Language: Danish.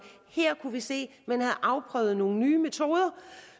her kunne se at man havde afprøvet nogle nye metoder